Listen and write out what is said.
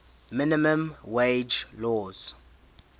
minimum wage laws